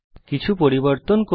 কিছু পরিবর্তন করব